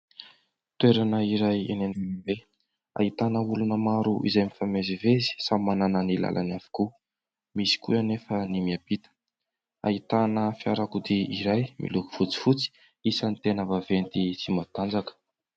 Toerana iray eny any ambe ahitana olona maro izay mifamezivezy samy manana ny lalany avokoa. Misy koa anefa ny miampita. Ahitana fiarakodia iray miloko fotsifotsy isany tena vaventy sy matanjaka.